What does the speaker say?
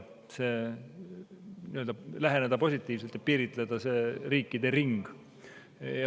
läheneda positiivselt ja piiritleda see riikide ring.